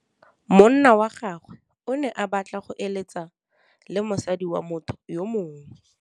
Monna wa gagwe o ne a batla go êlêtsa le mosadi wa motho yo mongwe.